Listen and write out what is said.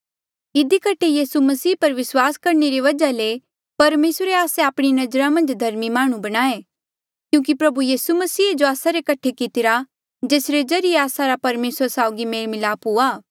इधी कठे यीसू मसीह पर विस्वास करणे रे वजहा ले परमेसरे आस्से आपणी नजरा मन्झ धर्मी माह्णुं बणाए क्यूंकि प्रभु यीसू मसीहे जो आस्सा रे कठे कितिरा जेसरे ज्रीए आस्सा रा परमेसरा साउगी मेल मिलाप हुआ